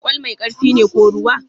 Kwal mai ƙarfi ne ko ruwa?